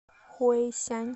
хуэйсянь